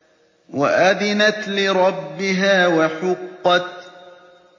وَأَذِنَتْ لِرَبِّهَا وَحُقَّتْ